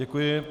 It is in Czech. Děkuji.